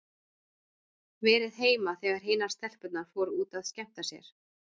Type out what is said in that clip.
Verið heima þegar hinar stelpurnar fóru út að skemmta sér.